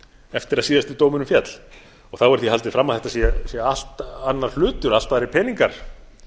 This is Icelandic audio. eftir að síðasti dómurinn féll þá er því haldið fram að þetta sé allt annar hlutur allt aðrir peningar